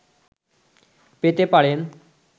পেতে পারেন